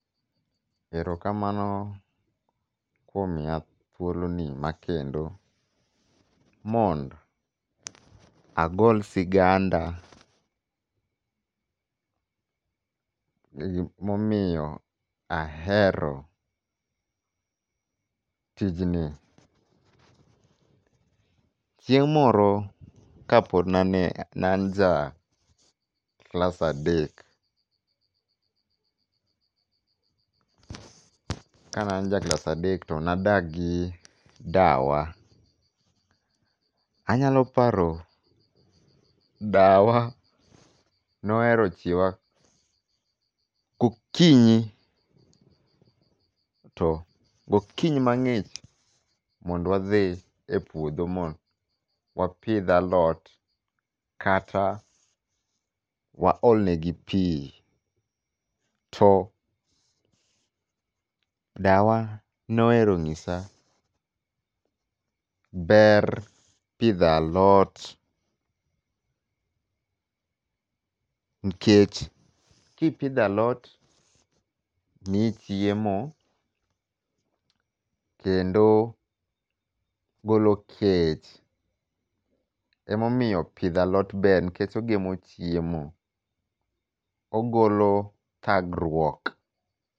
Erokamano kuom miya thuoloni makendo mond agol siganda momiyo ahero tijni. Chieng' moro ka pod nane, nan ja klasa adek to nadakgi dawa. Anyaloparo dawa nohero chiewa gokinyi to gokinyi mang'ich to mondwadhi e puodho mond wapidh alot kata waolnegi pii. To dawa nohero ng'isa ber pidho alot nikech kipidho alot mii chiemo kendo golo kech. Emomiyo pidho alot ber nikech ogemo chiemo. Ogolo thagruok.